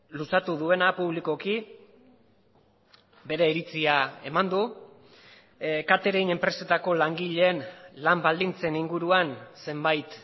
luzatu duena publikoki bere iritzia eman du catering enpresetako langileen lan baldintzen inguruan zenbait